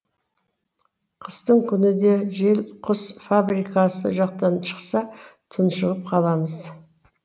қыстың күні де жел құс фабрикасы жақтан шықса тұншығып қаламыз